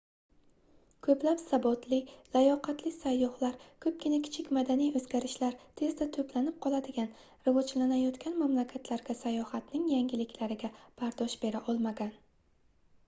koʻplab sabotli layoqatli sayyohlar koʻpgina kichik madaniy oʻzgarishlar tezda toʻplanib qoladigan rivojlanayotgan mamlakatlarga sayohatning yangiliklariga bardosh bera olmagan